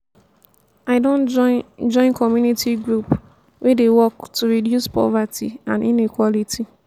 i don join join community group wey dey work to reduce poverty and inequality.